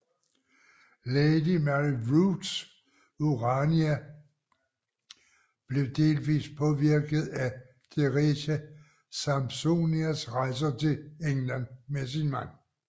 Lady Mary Wroths Urania blev delvist påvirket af Teresia Sampsonias rejser til England med sin mand